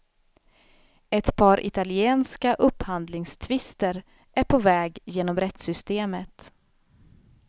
Ett par italienska upphandlingstvister är på väg genom rättssystemet.